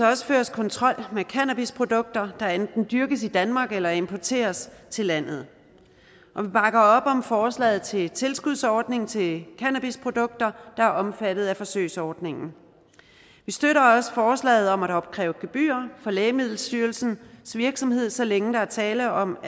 også føres kontrol med cannabisprodukter der enten dyrkes i danmark eller importeres til landet og vi bakker op om forslaget til en tilskudsordning til cannabisprodukter der er omfattet af forsøgsordningen vi støtter også forslaget om at opkræve gebyrer for lægemiddelstyrelsens virksomhed så længe der er tale om